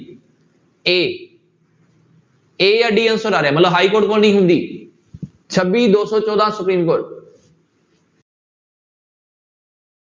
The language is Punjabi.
a a ਜਾਂ d answer ਆ ਰਿਹਾ ਮਤਲਬ ਹਾਈਕੋਰਟ ਕੋਲ ਨਹੀਂ ਹੁੰਦੀ ਛੱਬੀ ਦੋ ਸੌ ਚੌਦਾਂ ਸੁਪਰੀਮ ਕੋਰਟ।